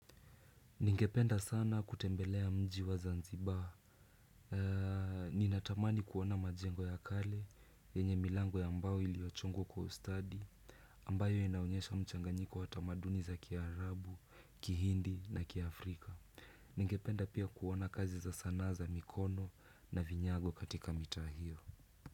Ningependa sana kutembelea mji wa zanzibar. Ninatamani kuona majengo ya kale yenye milango ya mbao iliochongwa kwa ustadi ambayo inaonyesha mchanganyiko wa tamaduni za kiarabu, kihindi na kiaafrika. Ningependa pia kuona kazi za sanaa za mikono na vinyago katika mitaa hio.